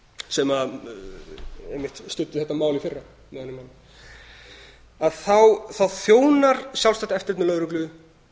sem einmitt studdi þetta mál í fyrra með öðrum orðum þá þjónar sjálfsagt eftirlit með lögreglu